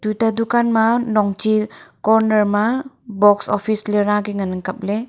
tuta dukan ma nong chi corner ma box office ley ra ke ngan ang kap ley.